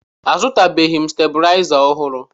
Azụtabeghị m stebilaịza ọhụrụ